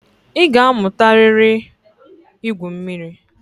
Ị ga-amụtarịrị ígwū mmiri.